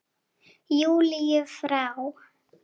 Júlíu frá.